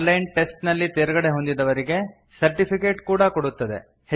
on line test ನಲ್ಲಿ ತೇರ್ಗಡೆಹೊಂದಿದವರಿಗೆ certificate ಕೊಡುತ್ತದೆ